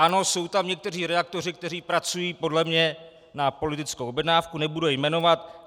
Ano, jsou tam někteří redaktoři, kteří pracují podle mě na politickou objednávku, nebudu je jmenovat.